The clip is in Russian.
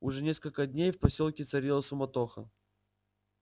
уже несколько дней в посёлке царила суматоха